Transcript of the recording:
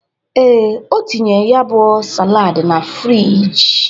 Ee, o tinyere ya bụ salaadị na friji.